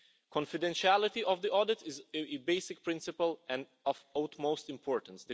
Confidentiality of the audit is a basic principle and of utmost importance.